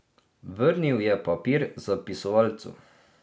Vrnil je papir Zapisovalcu.